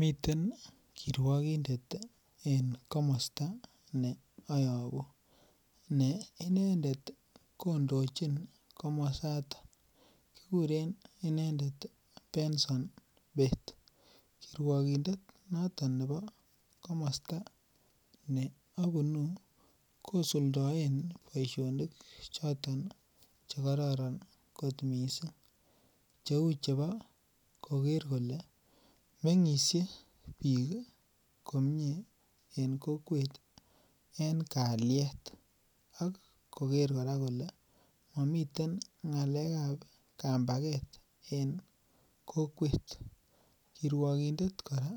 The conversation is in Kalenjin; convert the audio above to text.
Meten ih kiruakindet en komosto neayabu neinendet kondochin komosotokikuren inendet Benson Bett. Kiruakindet nebo komosto neabunu kosuldaen boisionik choton chekororon kot missing, cheuu chebo koker kole meng'isie bik en kokwet en kaliet ak koker kora kole mamiten ng'alekab kampaket en kokwet. Kiruakindet kora